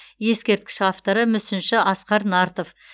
ескерткіш авторы мүсінші асқар нартов